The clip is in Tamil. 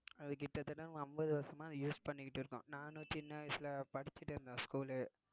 அது கிட்டத்தட்ட நம்ம அம்பது வருஷமா அதை use பண்ணிக்கிட்டு இருக்கோம் நானும் சின்ன வயசுல படிச்சுட்டு இருந்தேன் school உ